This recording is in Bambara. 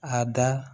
A da